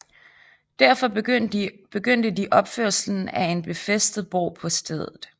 Derfor begyndte de opførelsen af en befæstet borg på stedet